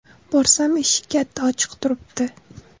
Borsam, eshik katta ochiq turibdi.